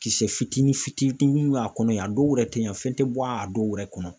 Kisɛ fitini fitini b'a kɔnɔ ye a dɔw yɛrɛ tɛ ɲɛ fɛn tɛ bɔ a dɔw yɛrɛ kɔnɔ.